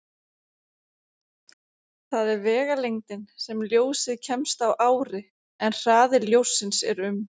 Það er vegalengdin sem ljósið kemst á ári, en hraði ljóssins er um